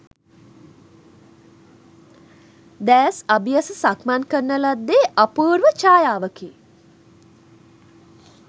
දෑස් අබියස සක්මන් කරන ලද්දේ අපූර්ව ඡායාවකි.